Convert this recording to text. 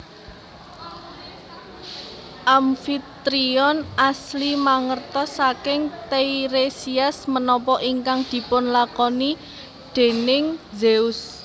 Amfitrion asli mangertos saking Teiresias menapa ingkang dipunlakoni déning Zeus